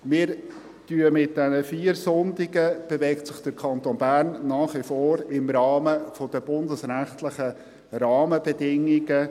Mit diesen vier Sonntagen bewegt sich der Kanton Bern nach wie vor innerhalb der bundesrechtlichen Rahmenbedingungen.